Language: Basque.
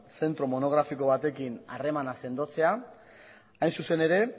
zentro monografiko batekin harremana sendotzea hain zuzen ere